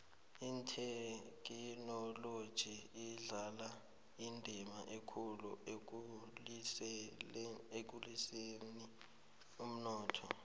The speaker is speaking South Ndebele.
ithekhinoloji idlala indima ekulu ekukhuliseni umnotho